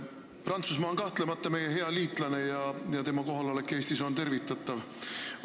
Prantsusmaa on kahtlemata meie hea liitlane ja tema kohalolek Eestis on tervitatav.